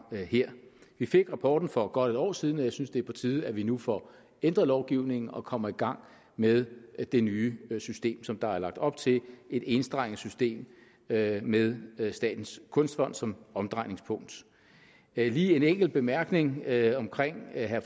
her vi fik rapporten for godt et år siden og jeg synes det er på tide at vi nu får ændret lovgivningen og kommer i gang med det nye system som der er lagt op til et enstrenget system med med statens kunstfond som omdrejningspunkt jeg har lige en enkelt bemærkning til herre